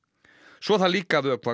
svo þarf líka að vökva